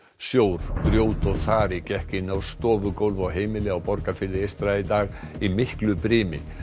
sjór grjót og þari gekk inn á stofugólf á heimili á Borgarfirði eystra í dag í miklu brimi